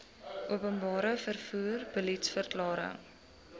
openbare vervoer beliedsverklaring